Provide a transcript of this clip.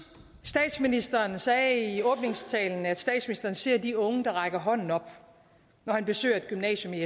statsministeren sagde i åbningstalen at statsministeren ser de unge der rækker hånden op når han besøger et gymnasium i